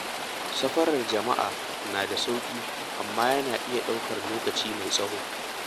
Safarar jama'a na da sauƙi, amma yana iya ɗaukar lokaci mai tsawo.